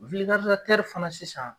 fana sisan